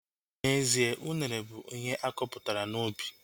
N'ezie, unere bụ ihe akọpụtara n'ubi